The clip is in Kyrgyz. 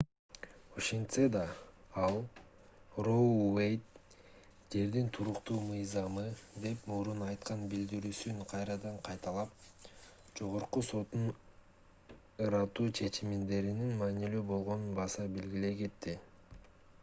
ошентсе да ал роу уэйд жердин туруктуу мыйзамы деп мурун айткан билдирүүсүн кайрадан кайталап жогорку соттун ырааттуу чечимдеринин маанилүү болгонун баса белгилей кетти